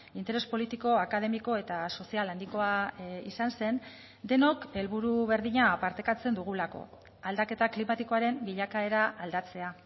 interes politiko akademiko eta sozial handikoa izan zen denok helburu berdina partekatzen dugulako aldaketa klimatikoaren bilakaera aldatzea